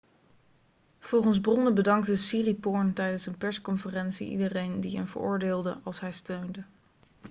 volgens bronnen bedankte siriporn tijdens een persconferentie iedereen die een veroordeelde' als hij steunde